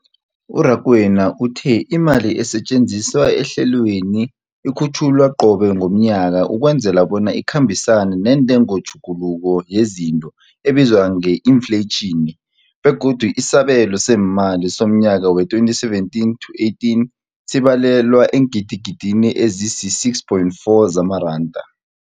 U-Rakwena uthe imali esetjenziswa ehlelweneli ikhutjhulwa qobe ngomnyaka ukwenzela bona ikhambisane nentengotjhuguluko yezinto ebizwa nge-infleyitjhini, begodu isabelo seemali somnyaka we-2017 to 18 sibalelwa eengidigidini ezisi-6.4 zamaranda.